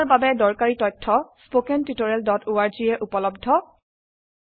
পড়াশোনাৰ বাবে দৰকাৰী তথ্য স্পোকেন tutorialorg ত উপলব্ধ